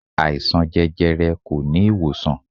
Àìsàn jẹjẹrẹ kò ní ìwòsàn.